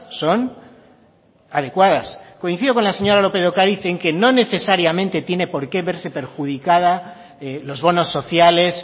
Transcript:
son adecuadas coincido con la señora lópez de ocariz en que no necesariamente tiene porque verse perjudicada los bonos sociales